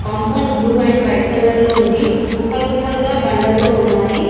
Compound blue and white colour లో ఉంది కుప్పలు కుప్పలుగా బండలతో ఉన్నాయి.